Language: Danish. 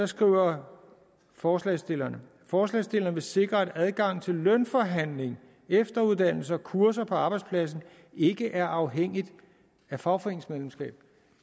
skriver forslagsstillerne forslagsstillerne vil sikre at adgangen til lønforhandling efteruddannelse og kurser på arbejdspladsen ikke er afhængigt af fagforeningsmedlemskab